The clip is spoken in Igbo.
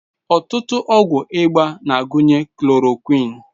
Ọtụtụ ọgwụ ịba na-agụnye chloroquine.